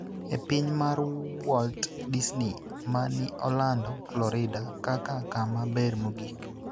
e piny mar Walt Disney ma ni Orlando, Florida kaka kama ber mogik.